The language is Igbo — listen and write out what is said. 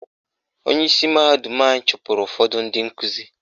Onyeisi mahadum anyị chụpụrụ ụfọdụ ndị nkuzi